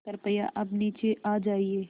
कृपया अब नीचे आ जाइये